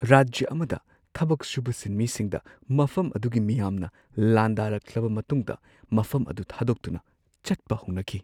ꯔꯥꯖ꯭ꯌ ꯑꯃꯗ ꯊꯕꯛ ꯁꯨꯕ ꯁꯤꯟꯃꯤꯁꯤꯡꯗ ꯃꯐꯝ ꯑꯗꯨꯒꯤ ꯃꯤꯌꯥꯝꯅ ꯂꯥꯟꯗꯥꯔꯛꯂꯕ ꯃꯇꯨꯡꯗ ꯃꯐꯝ ꯑꯗꯨ ꯊꯥꯗꯣꯛꯇꯨꯅ ꯆꯠꯄ ꯍꯧꯅꯈꯤ ꯫